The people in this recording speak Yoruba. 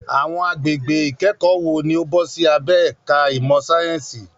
Àwọn agbègbè ìkẹ́kọ̀ọ́ wo ni ó bọ́ sí abẹ́ ẹ̀ka ìmọ̀ sáyẹ́ǹsì?